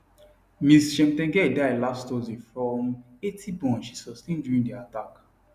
ms cheptegei die last thursday from 80 burn she sustain during di attack